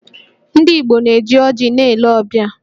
Ndị Igbo na-eji ọjị na-ele ọbịa